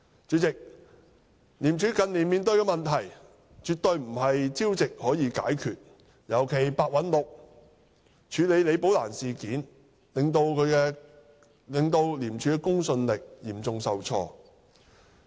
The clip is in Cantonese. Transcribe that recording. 主席，廉署近年面對的問題絕非朝夕可以解決，尤其是白韞六對李寶蘭事件的處理手法，令廉署的公信力嚴重受挫。